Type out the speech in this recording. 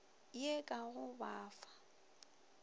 ye ka go ba fa